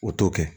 O t'o kɛ